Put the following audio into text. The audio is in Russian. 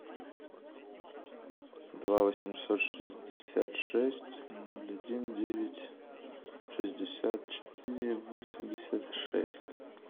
два восемьсот шестьдесят шесть ноль один девять шестьдесят четыре восемьдесят шесть